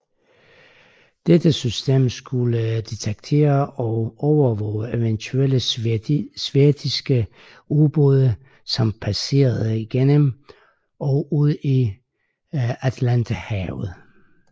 Dette system skulle detektere og overvåge eventuelle sovjetiske ubåde som passerede igennem og ud i Atlanterhavet